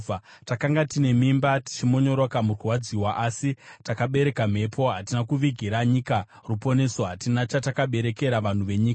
Takanga tine mimba, tichimonyoroka mukurwadziwa, asi takabereka mhepo. Hatina kuvigira nyika ruponeso; hatina chatakaberekera vanhu venyika.